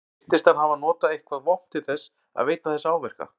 Andri: Virtist hann hafa notað eitthvað vopn til þess að veita þessa áverka?